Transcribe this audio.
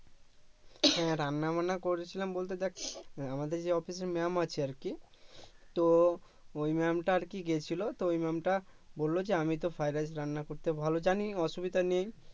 হ্যা রান্নাবান্না করেছিলাম বলতে দেখ আমাদের যে অফিসের ম্যাম আছে আরকি তো ওই ম্যামটা আরকি গেছিলো তো ম্যামটা বললো যে আমি তো ফ্রাইড রাইস রান্না করতে ভালো জানি অসুবিধা নেই